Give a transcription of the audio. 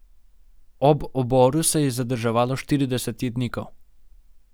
Ob oboru se je zadrževalo štirideset jetnikov.